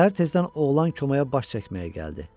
Səhər tezdən oğlan komaya baş çəkməyə gəldi.